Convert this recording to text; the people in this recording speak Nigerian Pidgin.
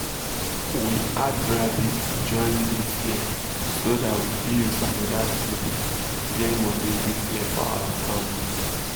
we add rabbit join this year so that we fit use another thing get money this year for our family